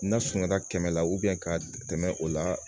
N'a sunada kɛmɛ la ka tɛmɛ o la